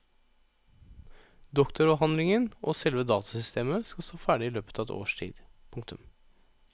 Doktoravhandlingen og selve datasystemet skal stå ferdig i løpet av et års tid. punktum